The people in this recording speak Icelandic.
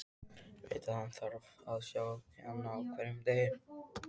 Veit að hann þarf að sjá hana á hverjum degi.